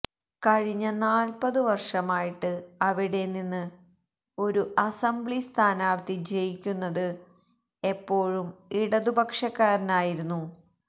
കഴിഞ്ഞ നാല്പതു വർഷമായിട്ട് അവിടെനിന്ന് ഒരു അസംബ്ലിസ്ഥാനാർത്ഥി ജയിക്കുന്നത് എപ്പോഴും ഇടതുപക്ഷക്കാരനായിരുന്നു